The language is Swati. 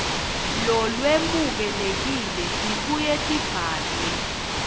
lolwemukelekile tibuye tibhalwe